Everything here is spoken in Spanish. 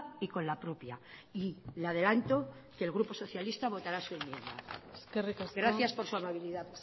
y con la propia y le adelanto que el grupo socialista votará su enmienda gracias por su amabilidad